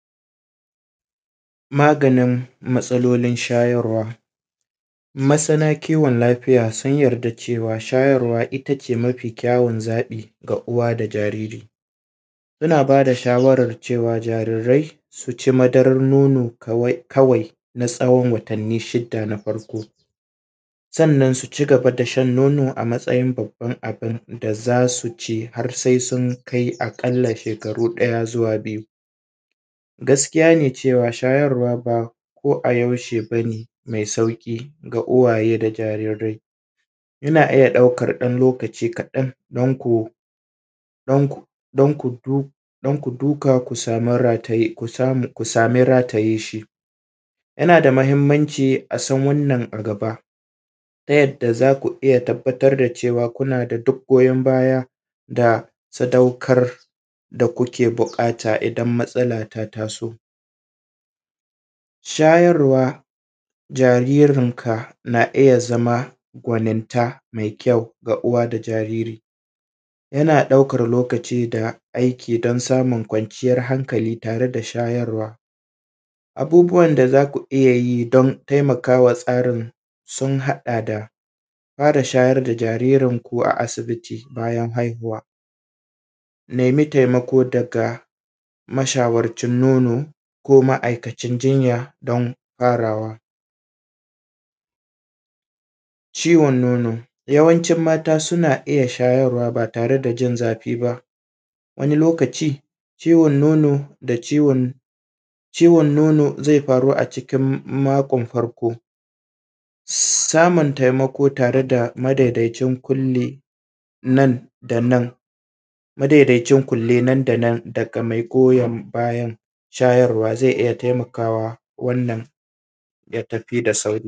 Maganin matsalolin shayarwa, masana kiwon lafiya sun yadda cewa shyarwa itace ne mafi kyawun zaɓi ga uwa da jariri muna ba da shawaran cewa jarirai su ci madaran nono kawai kawai na tsawon watanni shida na farko, sannan su cigaba da shan nono a matsayin babban abin da zasu ci har sai sun kai aƙalla shekaru ɗaya zuwa biyu, gaskiya ne cewa shayarwa ba ko a yaushe bane mai sauƙi ko ga uwaye da jarirai ina iya ɗaukan ɗan lokaci kaɗan danko dan ku dan kudu duƙa ku samu rataye ku same ku same rataye shi, yana da mahimmanci a san wanan a gaba ta yadda zaku iya tabbatar da cewa kuna da duk goyan baya da sadaukar da kuke buƙata idan matsala ta taso, shayarwa jaririn ka na iya zama gwaninta mai kyau ga uwa da jariri yana ɗaukar lokaci da aiki don samun kwanciyar hankali tare da shayarwa, abubuwan da zaku iya yi don taimakawa tsarin sun haɗa da fara shayar da jaririn ku a asibiti bayan haihuwa nemi taimako daga mashwarcin nono ko ma`aikacin jinya don farawa, ciwon nono, yawancin mata suna iya shayarwa ba tare da jin safi ba, wani lokaci ciwon nono da ciwon ciwon zai faru a cikin makon farko, samun taimako tare da madaidaicin ƙunli nan da nan madaidaicin kunle nan da nan daga mai goyan bayan shayarwa zai iya taimakawa wannan.